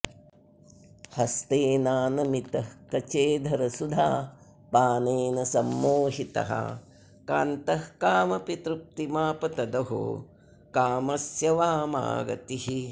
हस्तेनानमितः कचेऽधरसुधापानेन सम्मोहितः कान्तः कामपि तृप्तिमाप तदहो कामस्य वामा गतिः